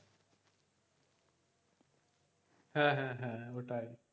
হ্যাঁ হ্যাঁ ওটাই